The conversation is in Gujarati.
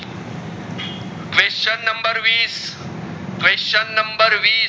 question નંબર વીસ question નંબર વીસ